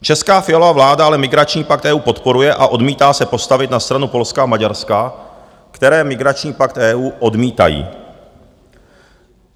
Česká Fialova vláda ale migrační pakt EU podporuje a odmítá se postavit na stranu Polska a Maďarska, které migrační pakt EU odmítají.